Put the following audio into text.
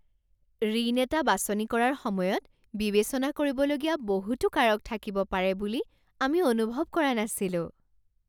ঋণ এটা বাছনি কৰাৰ সময়ত বিবেচনা কৰিবলগীয়া বহুতো কাৰক থাকিব পাৰে বুলি আমি অনুভৱ কৰা নাছিলোঁ!